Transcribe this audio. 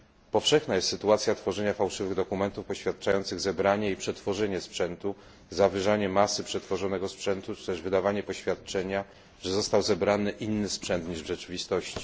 Powszechna jest sytuacja tworzenia fałszywych dokumentów, poświadczających zebranie i przetworzenie sprzętu, zawyżanie masy przetworzonego sprzętu, czy też wydawanie poświadczenia, że został zebrany inny sprzęt niż w rzeczywistości.